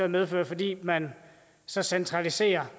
medfører fordi man så centraliserer